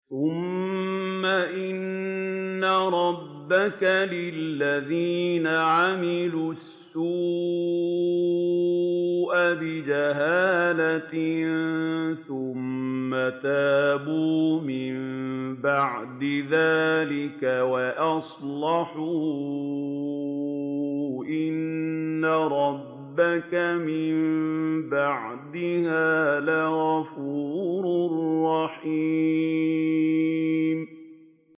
ثُمَّ إِنَّ رَبَّكَ لِلَّذِينَ عَمِلُوا السُّوءَ بِجَهَالَةٍ ثُمَّ تَابُوا مِن بَعْدِ ذَٰلِكَ وَأَصْلَحُوا إِنَّ رَبَّكَ مِن بَعْدِهَا لَغَفُورٌ رَّحِيمٌ